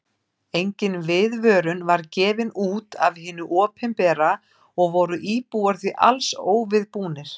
Engin viðvörun var gefin út af hinu opinbera og voru íbúar því alls óviðbúnir.